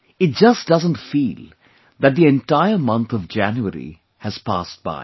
It just doesn't feel that the entire month of January has passed by